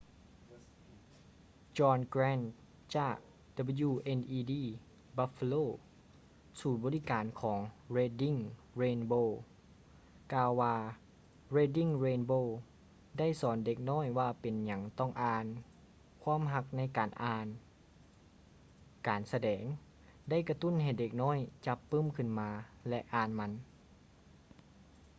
john grant ຈາກ wned buffalo ສູນບໍລິການຂອງ reading rainbow ກ່າວວ່າ reading rainbow ໄດ້ສອນເດັກນ້ອຍວ່າເປັນຫຍັງຕ້ອງອ່ານ ... ຄວາມຮັກໃນການອ່ານ — [ການສະແດງ] ໄດ້ກະຕຸ້ນໃຫ້ເດັກນ້ອຍຈັບປື້ມຂຶ້ນມາ ແລະ ອ່ານມັນ.